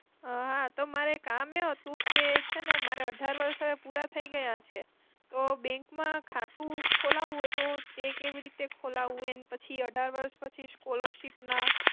હા, તો મારે કામ એવું હતું કે છેને મારે અઢાર વર્ષ હવે પુરા થઇ ગયા છે, તો bank માં ખાતું ખોલાવવું હોય તો તે કેવીરીતે ખોલાવવું, એન પછી અઢાર વર્ષ પછી scholarship ના.